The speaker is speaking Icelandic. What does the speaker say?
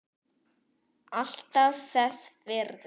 Alltaf þess virði.